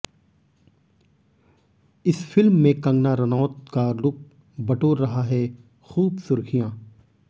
इस फिल्म में कंगना रनौता का लुक बटोर रहा है खूब सुर्खियां